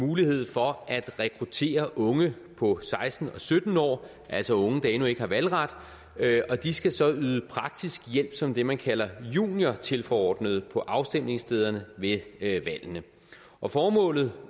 mulighed for at rekruttere unge på seksten og sytten år altså unge der endnu ikke har valgret og de skal så yde praktisk hjælp som det man kalder juniortilforordnede på afstemningsstederne ved valgene og formålet